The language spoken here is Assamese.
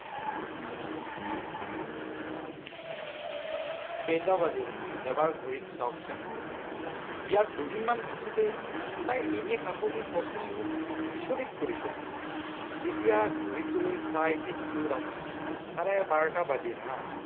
কেইটা বাজিল, এবাৰ ঘড়ীটো চাওকচোন। বিয়াৰ দুদিনমান পিছতেই তাইৰ এনে সাহসী প্ৰশ্নই মোক, বিচৰতি কৰিলে। তেতিয়া ঘড়ীটোলৈ চাই দেখিলো ৰাতি চাৰে বাৰটা বাজিল হা